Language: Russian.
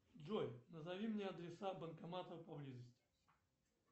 джой назови мне адреса банкоматов поблизости